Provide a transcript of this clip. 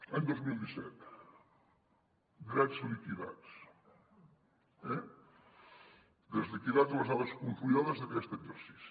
any dos mil disset drets liquidats eh drets liquidats les dades consolidades d’aquest exercici